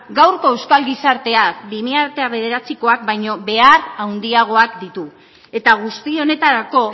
gaurko euskal gizarteak bi mila bederatzikoak baino behar handiagoak ditu eta guzti honetarako